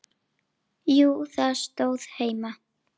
Jú, það stóð heima.